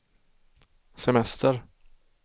semester